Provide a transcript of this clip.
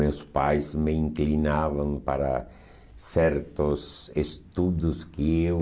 Meus pais me inclinavam para certos estudos que eu